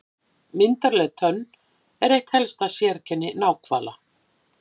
Myndarleg tönnin er eitt helsta sérkenni náhvala.